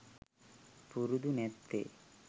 පුරුදු නැත්තේ .